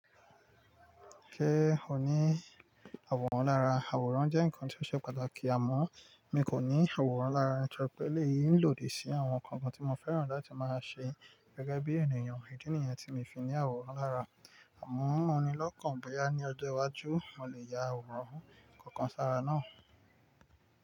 Sẹ́ ò ní àwòrán lára. Àwòrán jẹ́ ǹnkan tí ó ṣe pàtàkì àmọ́ mi kò ní àwòrán lára, torípé elèyí lòdì sí àwọn ǹnkan kan tí mo fẹ́ràn láti máa ṣe gẹ́gẹ́ bí ènìyàn. Ìdí nìyẹn tí mi fi ní àwòrán lára. Àmọ́ mò ni lọ́kàn bóyá ní ọjọ́ iwájú mo lè ya àwòrán kankan sára náà.